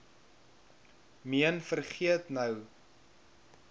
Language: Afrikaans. meen vergeet nou